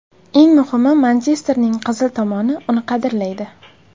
Eng muhimi, Manchesterning qizil tomoni uni qadrlaydi.